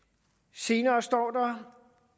senere står der